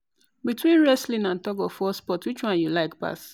between wrestling and tug-of-war sport, which one you like pass